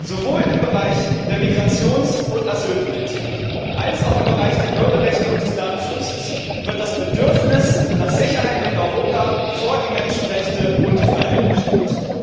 Sowohl im Bereich der Migrations und Asylpolitik als auch im Bereich der Bürgerrechte und des Datenschutzes wird das Bedürfnis nach Sicherheit in Europa vor die Menschenrechte und die Freiheit gestellt.